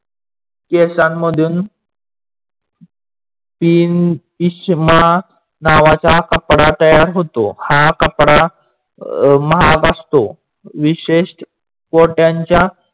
केसांमधून नावाचा कपडा तयार होतो. हा कपडा महाग असतो. विशेस कोट्यांच्या